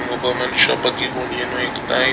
ಒಬ್ಬ ಮನುಷ್ಯ ಬಗ್ಗಿಕೊಂಡು ಏನೋ ಹೆಕ್ತಾ --